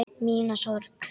Mína sorg.